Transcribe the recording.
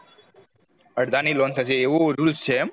અડધાની loan થશે એવો rule છે એમ